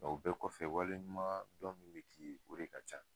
Nga o bɛɛ kɔfɛ waleɲumandɔn min bi k'i ye o de ka ca.